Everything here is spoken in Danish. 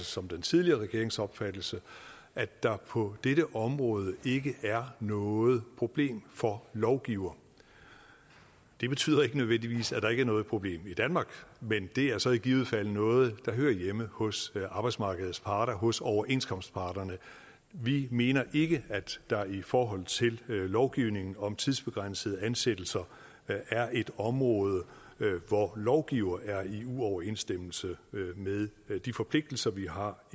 som den tidligere regerings opfattelse at der på dette område ikke er noget problem for lovgiver det betyder ikke nødvendigvis at der ikke er noget problem i danmark men det er så i givet fald noget der hører hjemme hos arbejdsmarkedets parter hos overenskomstparterne vi mener ikke at der i forhold til lovgivningen om tidsbegrænsede ansættelser er et område hvor lovgiver er i uoverensstemmelse med de forpligtelser vi har